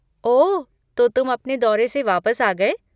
ओह, तो तुम अपने दौरे से वापस आ गए?